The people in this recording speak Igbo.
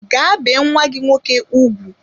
Gaa bee nwa gị nwoke ugwu!